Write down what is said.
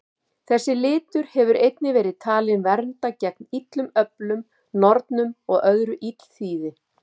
Þessi litur hefur einnig verið talinn vernda gegn illum öflum, nornum og öðru illþýði.